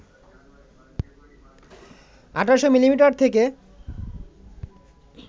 ১৮০০ millimetre থেকে